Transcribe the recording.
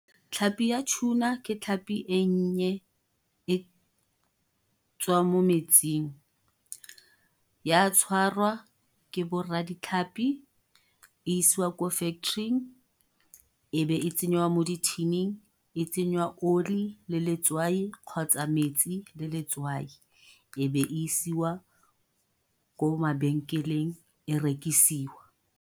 Tlhapi ya tuna ke tlhapi ennye e tswang mo metsing, ya tshwarwa ke bo rra di tlhapi, isiwa ko factory-ing. Ebe e tsengwa mo di thining, e tsenywa oli, le letswai, kgotsa metsi le letswai. Ebe isiwa ko mabenkeleng e rekisiwa.